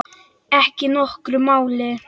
Ekki nokkru máli.